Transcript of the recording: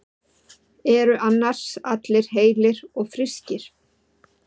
Eru annars allir heilir og frískir?